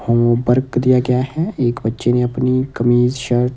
homework दिया गया हैएक बच्चे ने अपनी कमीज शर्ट --